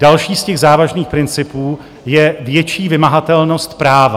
Další z těch závažných principů je větší vymahatelnost práva.